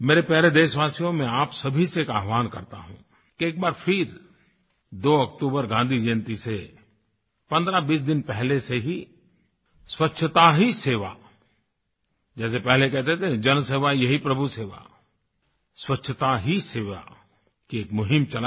मेरे प्यारे देशवासियो मैं आप सभी से एक आह्वान करता हूँ कि एक बार फिर 2 अक्टूबर गाँधी जयंती से 1520 दिन पहले से ही स्वच्छता ही सेवा जैसे पहले कहते थे जल सेवा यही प्रभु सेवा स्वच्छता ही सेवा की एक मुहिम चलायें